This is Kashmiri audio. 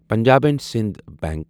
Punjab and Sind bunk